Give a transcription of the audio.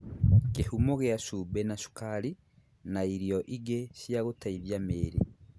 Kĩhumo gĩa cumbĩ na cukari na irio ingĩ cia gũteithia mĩĩrĩ